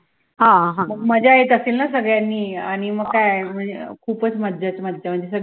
मग मज्जा येत असेल ना सगळ्यांनी आणि म काय खुपचं मज्जाच मज्जा